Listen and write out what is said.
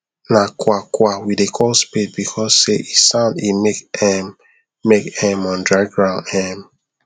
na kwakwa we dey call spade because se e sound e make um make um on dry ground um